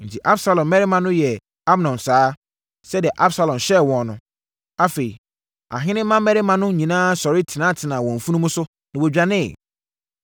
Enti, Absalom mmarima no yɛɛ Amnon saa, sɛdeɛ Absalom hyɛɛ wɔn no. Afei, ahene mmammarima no nyinaa sɔre tenatenaa wɔn mfunumu so, na wɔdwaneeɛ.